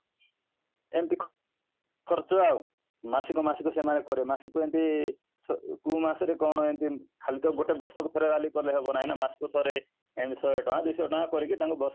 ଏମିତି ଖର୍ଚ୍ଚ ଆଉ ମାସିକ ମାସିକ ସେମାନେ କରେ ମାସିକ ଏମିତି କୋଉ ମାସ ରେ କ'ଣ ଏମିତି ଖାଲି ତ ଗୋଟେ ବର୍ଷ ପୁରା ଖାଲି rally କଲେ ହବ ନାହିଁ ନା ମାସ କୁ ଥରେ ଏମିତି ଶହେ ଟଙ୍କା ଦୁଇଶହ ଟଙ୍କା କରିକି ତାଙ୍କୁ